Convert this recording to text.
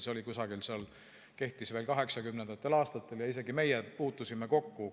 See kehtis veel 1980. aastatel ja isegi meie puutusime sellega kokku.